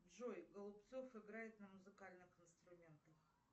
джой голубцов играет на музыкальных инструментах